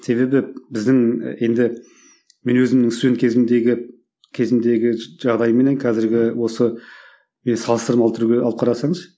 себебі біздің енді мен өзімнің студент кезімдегі кезімдегі жағдайменен қазіргі осы салыстырмалы түрде алып қарасаңыз